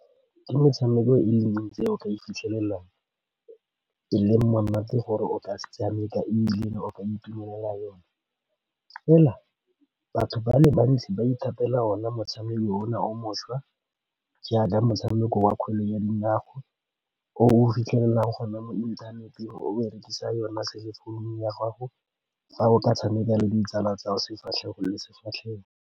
Ke metshameko e le mentsi e o ka e ifitlhelelang, e le monate gore o ka se tshameka, ebile o ka itumelela yone. Fela batho ba le bantsi ba ithatela ona motshameko o o mošwa, jaaka motshameko wa kgwele ya dinao. O o fitlhelelang gone mo inthaneteng, o berekisa yona cell phone-u ya gago, fa o ka tshameka le ditsala tsa sefatlhego le sefatlhego.